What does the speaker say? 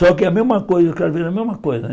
Só que é a mesma coisa mesma coisa né